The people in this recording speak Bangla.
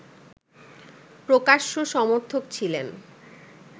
প্রকাশ্য সমর্থক ছিলেন